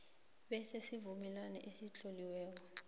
benze isivumelwano esitloliweko